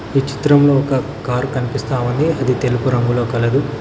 ఈ చిత్రంలో ఒక కారు కనిపిస్తా ఉంది అది తెలుపు రంగులో కలదు.